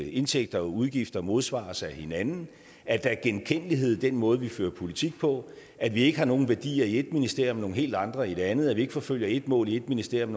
indtægter og udgifter modsvares af hinanden at der er genkendelighed i den måde vi fører politik på at vi ikke har nogen værdier i ét ministerium og nogle helt andre i et andet at vi ikke forfølger ét mål i ét ministerium